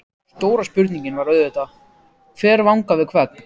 Stóra spurningin var auðvitað: Hver vangar við hvern?